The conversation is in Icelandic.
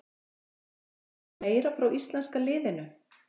Bjóstu við meira frá íslenska liðinu?